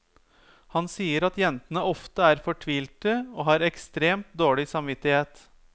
Han sier at jentene ofte er fortvilte og har ekstremt dårlig samvittighet.